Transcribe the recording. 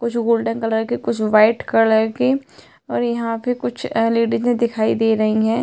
कुछ golden colour के कुछ वाइट कलर के और यहाँ पे कुछ लेडीजें दिखाई दे रही हैं।